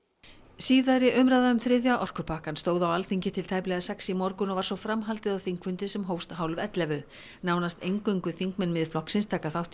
síðari umræða um þriðja orkupakkann stóð á Alþingi til tæplega sex í morgun og var svo framhaldið á þingfundi sem hófst hálf ellefu nánast eingöngu þingmenn Miðflokksins taka þátt í